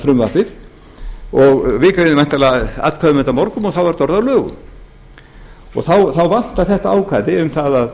frumvarpið við greiðum væntanlega atkvæði um þetta á morgun og þá er þetta orðið að lögum þá vantar þetta ákvæði um það að